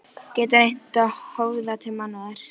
Getur reynt að höfða til mannúðar.